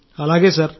అవును సార్